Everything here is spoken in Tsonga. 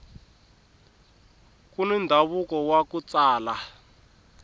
kuni ndhavuko waku tsala